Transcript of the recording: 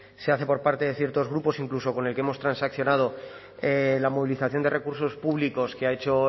se hace por parte de ciertos grupos incluso con el que hemos transaccionado la movilización de recursos públicos que ha hecho